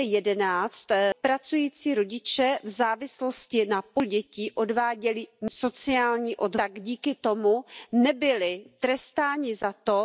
ogłoszonego przez Komisję europejskiego filaru praw socjalnych. Sięgnijcie do tego. Róbmy coś, co jest tam zapisane.